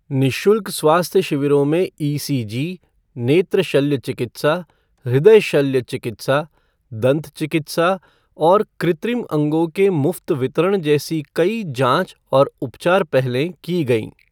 निःशुल्क स्वास्थ्य शिविरों में ईसीजी, नेत्र शल्य चिकित्सा, हृदय शल्य चिकित्सा, दंत चिकित्सा और कृत्रिम अंगों के मुफ्त वितरण जैसी कई जांच और उपचार पहलें की गई।